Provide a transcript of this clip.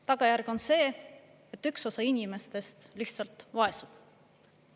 Tagajärg on see, et üks osa inimestest lihtsalt vaesub.